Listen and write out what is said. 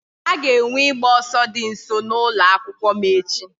A ga-enwe ịgba ọsọ dị nso n'ụlọ akwụkwọ m echi